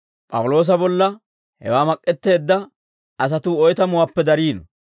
P'awuloosa bolla hewaa mak'k'eteedda asatuu oytamuwaappe dariino.